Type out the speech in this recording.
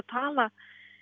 talað